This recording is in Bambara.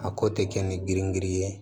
A ko tɛ kɛ ni girin girin ye